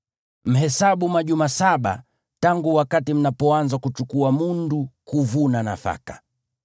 Mhesabu majuma saba tangu wakati mnapoanza kuchukua mundu kuvuna nafaka.